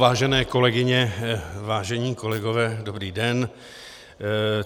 Vážené kolegyně, vážení kolegové, dobrý den.